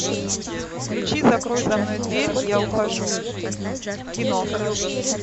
включи закрой за мной дверь я ухожу кино